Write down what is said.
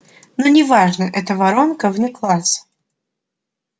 но не важно это воронка вне класса